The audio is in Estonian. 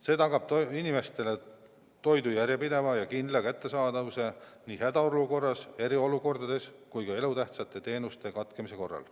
See tagab inimestele toidu järjepideva ja kindla kättesaadavuse nii hädaolukorras, eriolukorras kui ka elutähtsate teenuste katkemise korral.